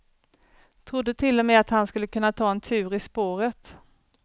Trodde till och med att han skulle kunna ta en tur i spåret.